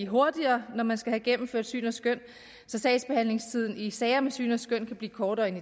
hurtigere når man skal have gennemført syn og skøn så sagsbehandlingstiden i sager om syn og skøn kan blive kortere end